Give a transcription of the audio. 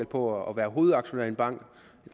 på at være hovedaktionær i en bank